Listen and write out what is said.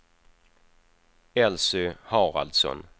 Elsy Haraldsson